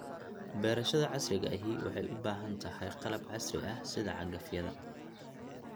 Beerashada casriga ahi waxay u baahan tahay qalab casri ah sida cagafyada.